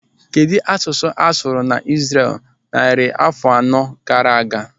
Kedụ asụsụ a sụrụ na mba Izrel narị afọ anọ gaara aga?